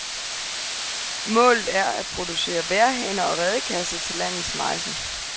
Målet er at producere vejrhaner og redekasser til landets mejser.